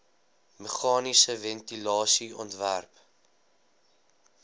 meganiese ventilasie ontwerp